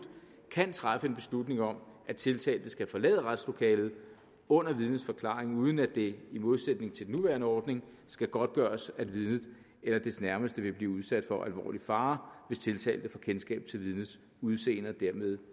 kan træffe beslutning om at tiltalte skal forlade retslokalet under vidnets forklaring uden at det i modsætning til nuværende ordning skal godtgøres at vidnet eller dets nærmeste vil blive udsat for alvorlig fare hvis tiltalte får kendskab til vidnets udseende og dermed